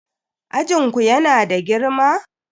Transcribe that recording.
Ajin ku yana da girma?